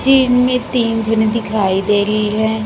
Team में तीन जने दिखाई दे रही है।